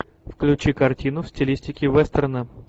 включи картину в стилистике вестерна